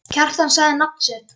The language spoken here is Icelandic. Kjartan sagði nafn sitt.